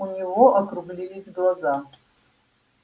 у него округлились глаза